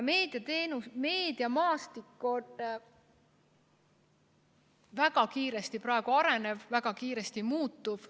Meediamaastik on väga kiiresti arenev, väga kiiresti muutuv.